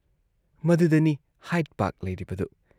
ꯃꯗꯨꯗꯅꯤ Hyde Park ꯂꯩꯔꯤꯕꯗꯨ ꯫